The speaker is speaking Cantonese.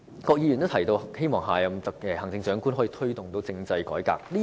郭議員提到希望下任行政長官可以"推動政制改革"。